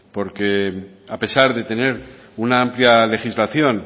porque a pesar de tener una amplia legislación